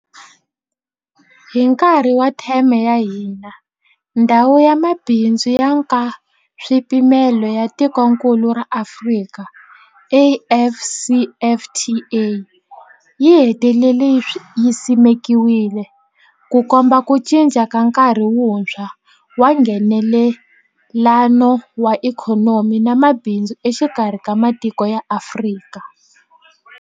Hi nkarhi wa theme ya hina, Ndhawu ya Mabindzu ya Nkaswipimelo ya Tikokulu ra Afrika, AfCFTA yi hetelele yi simekiwile, Ku komba ku cinca ka nkarhi wuntshwa wa Nghenelelano wa ikhonomi na mabindzu exikarhi ka matiko ya Afrika.